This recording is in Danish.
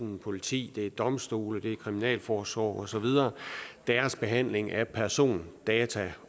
jo politiet det er domstolene det er kriminalforsorgen og så videre og deres behandling af persondata